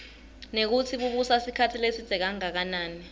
nekutsi bubusa sikhatsi lesidze kangakanani